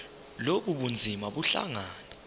lobu bunzima buhlangane